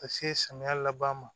Ka se samiya laban ma